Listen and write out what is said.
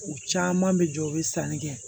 U caman bɛ jɔ u bɛ sanni kɛ